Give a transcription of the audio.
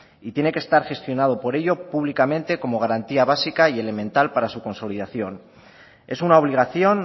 y tiene que estar gestionado por ello públicamente como garantía básica y elemental para su consolidación es una obligación